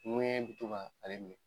bi to ka ale minɛ